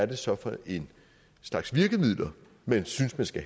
det så er for en slags virkemidler man synes der skal